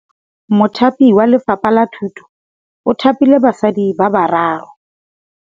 Mothapi wa Lefapha la Thutô o thapile basadi ba ba raro.